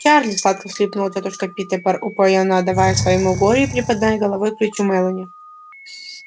чарли сладко всхлипнула тётушка питтипэр упоенно отдаваясь своему горю и припадая головой к плечу мелани